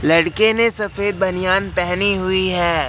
लड़के ने सफेद बनियान पहनी हुई है।